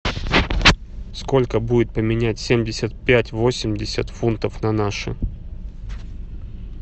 сколько будет поменять семьдесят пять восемьдесят фунтов на наши